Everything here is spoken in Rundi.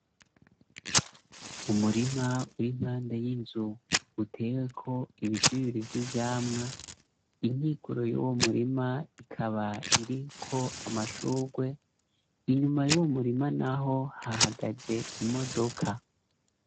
Umurima uri impande y'inzu iteweko ibiti biri vy'ivyamwa inkikuro yuwo murima ikaba iriko amashugwe inyuma yuwo murima naho hahagaze imodoka